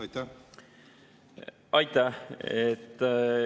Aitäh!